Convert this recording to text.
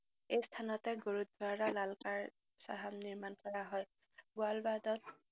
এই স্থানতে গুৰুদ্বাৰা লালকানা চাহাব নিৰ্মাণ কৰা হয়। বুৱালবাদত